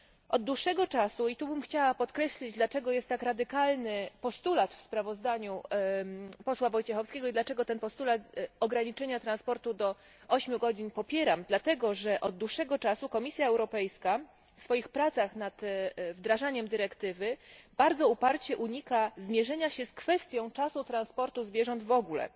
Od dłuższego czasu i tu chciałabym podkreślić, dlaczego jest tak radykalny postulat w sprawozdaniu posła Wojciechowskiego i dlaczego ten postulat ograniczenia transportu do 8 godzin popieram dlatego, że od dłuższego czasu Komisja Europejska w swoich pracach nad wdrażaniem dyrektywy bardzo uparcie unika zmierzenia się z kwestią czasu transportu zwierząt w ogóle,